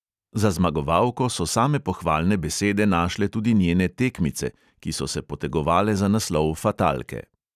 Za zmagovalko so same pohvalne besede našle tudi njene "tekmice", ki so se potegovale za naslov fatalke.